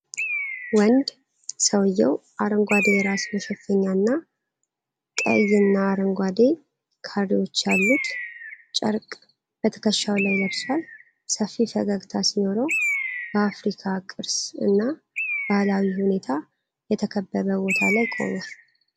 ወንድ ሰውዬው አረንጓዴ የራስ መሸፈኛና ቀይና አረንጓዴ ካሬዎች ያሉት ጨርቅ በትከሻው ላይ ለብሷል። ሰፊ ፈገግታ ሲኖረው በአፍሪካዊ ቅርስ እና ባህላዊ ሁኔታ የተከበበ ቦታ ላይ ቆሟል።